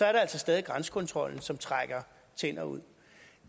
er der altså stadig grænsekontrollen som trækker tænder ud